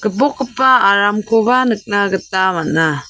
bokgipa aramkoba nikna gita man·a.